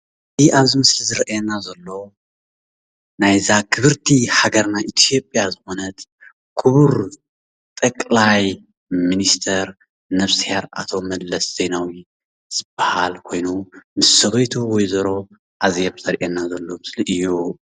እዚ ኣብዛ ምስሊ ዝረኣየና ዘሎ ናይዛ ክብርቲ ሃገርና ኢትዮጵያ ዝኮነት ክቡር ጠቅላይ ሚኒስተር ነብስሄር ኣቶ መለስ ዜናዊ ዝባሃል ኮይኑ ምስ ሰበይቱ ወ/ሮ ኣዜብ ዘርእየና ዘሎ ምስሊ እዩ።